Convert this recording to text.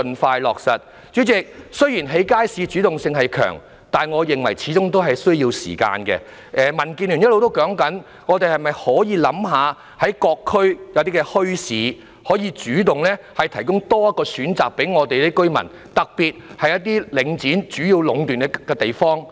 代理主席，雖然政府興建街市的主動性強，但我認為這始終需要時間，民主建港協進聯盟一直也建議當局考慮在各區設立墟市，主動向居民提供多一個選擇，特別是在領展壟斷的地方。